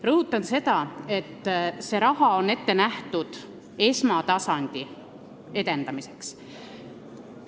Rõhutan, et see raha on ette nähtud esmatasandi edendamiseks.